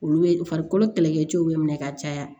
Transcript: Olu ye farikolo kɛlɛkɛcɛw bɛ minɛ ka caya